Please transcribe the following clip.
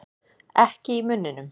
Ekki í munninum.